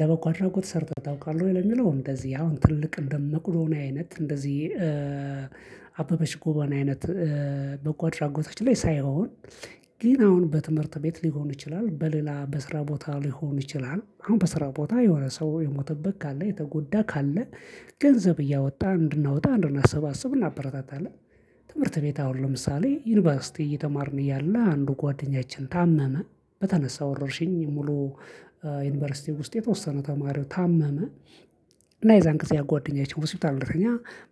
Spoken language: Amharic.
ለበጎ አድራጎት ሰርተህ ታውቃለህ ወይ? ለሚለው እንደዚህ አሁን ትልቅ እንደ መቆዶንያ አይነት እንደዚህ አበበች ጎበና አይነት በጎ አድራጎቶች ላይ ሳይሆን። ግን አሁን በትምህርት ቤት ሊሆን ይችላል በሌላ በስራ ቦታ ሊሆን ይችላል አሁን በስራ ቦታ የሆነ ሰው የሞተበት ካለ የተጎዳ ካለ ገንዘብ እያወጣ እንድናወጣ እንድናሰባስብ እናበረታታለን። ትምህርት ቤት አሁን ለምሳሌ ዩኒቨርሲቲ እየተማርን እያለ አንዱ ጓደኛችን ታመመ በተነሳ ወረርሽኝ ሙሉ ዩኒቨርሲቲው ውስጥ የተወሰነ ተማሪው ታመመ። እና የዛን ጊዜ ያ ጓደኛችን ሆስፒታል እንደተኛ